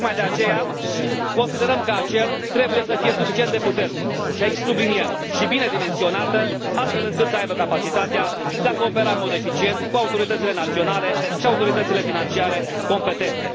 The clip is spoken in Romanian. Tocmai de aceea, considerăm că ACER trebuie să fie suficient de puternică și aici subliniem și bine dimensionată astfel încât să aibă capacitatea de a coopera în mod eficient cu autoritățile naționale și autoritățile financiare competente.